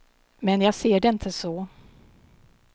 Men jag ser det inte så.